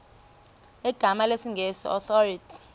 zegama lesngesn authorit